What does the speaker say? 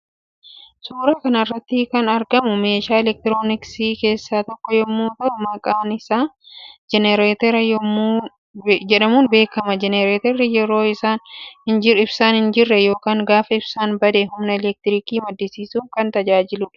Suuraa kanarratti kan argamu meeshaa elektirooniksii kessaa tokko yommuuu ta'uu maqaan isa jenerretera jedhamuun beekama jenereeterri yeroo ibsaan hin jire yookaan gaafa ibsaan bade humna elektirikii maddisiisuuf kan tajaajilu dha.